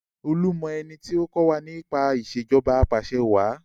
Olú mọ ẹni tí ó kọ́ wa nípa Ìṣèjọba Apàṣẹwàá